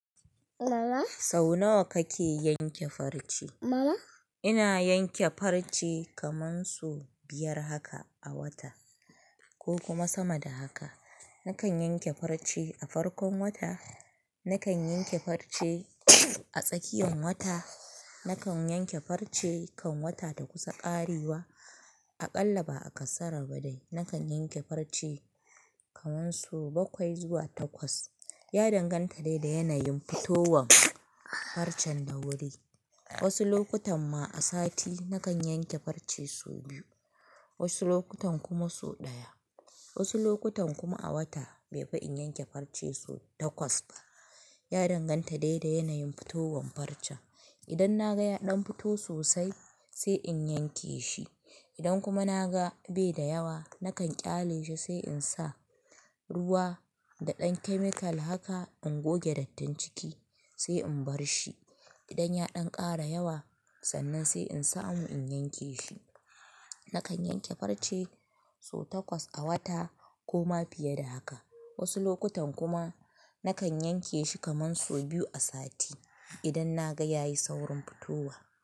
Sau nawa kake yanke farce? Ina yanke farce kaman so biyar haka a wata ko kuma sama da haka. Nakan yanke farce a farkon wata, nakan yanke farce a tsakiyan wata, nakan yanke farce kan wata ta kusa ƙarewa. Aƙalla ba a ƙasara ba dai nakan yanke farce kaman so bakwai zuwa takwas. Ya danganta dai da yanayin fitowan farcen da wuri. Wasu lokutan ma a sati nakan yanke farce su biyu, wasu lokutan kuma su ɗaya. Wasu lokutan kuma a wata bai fi in yanke farce su takwas ba. Ya danganta dai da yanayin fitowan farce. Idan na ga ya ɗan fito sosai sai in yanke shi. Idan kuma na ga bai da yawa nakan ƙyale shi sai in sa ruwa da ɗan chemical haka ingoge dattin ciki sai in bar shi. Idan ya ɗan ƙara yawa sannan sai in samu in yanke shi. Nakan yanke farce so takwas a wata ko ma fiye da haka. Wasu lokutan kuma nakan yanke shi kaman su biyu a sati idan na ga ya yi saurin fitowa.